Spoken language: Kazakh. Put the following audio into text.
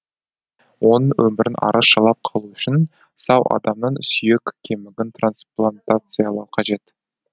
оның өмірін арашалап қалу үшін сау адамның сүйек кемігін трансплантациялау қажет